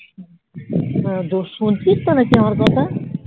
শুনছিস তো নাকি আমার কথা?